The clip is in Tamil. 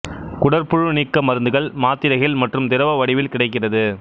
குடற்புழு நீக்க மருந்துகள் மாத்திரைகள் மற்றும் திரவ வடிவில் கிடைக்கிறது